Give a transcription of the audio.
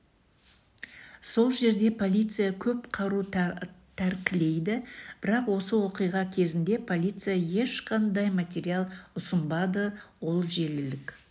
сол жерде полиция көп қару тәркілейді бірақ осы оқиға кезінде полиция ешқандай материал ұсынбады ол желілік